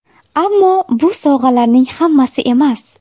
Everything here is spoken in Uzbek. Ammo bu sovg‘alarning hammasi emas.